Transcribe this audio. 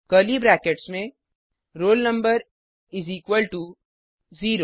curly brackets में roll number इस equal to 0